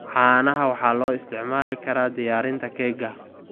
Caanaha waxaa loo isticmaali karaa diyaarinta keega.